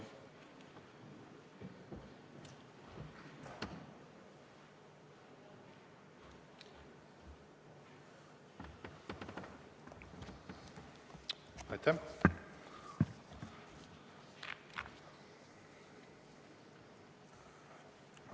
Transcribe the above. Aitäh!